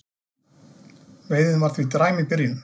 Veiðin var því dræm í byrjun